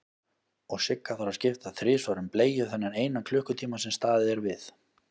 Og Sigga þarf að skipta þrisvar um bleiu þennan eina klukkutíma sem staðið er við.